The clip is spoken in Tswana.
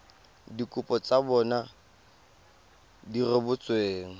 dikopo tsa bona di rebotsweng